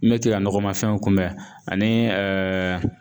Mɛtɛ ka nɔgɔma fɛnw kunbɛn ani